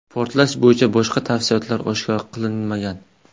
Portlash bo‘yicha boshqa tafsilotlar oshkor qilinmagan.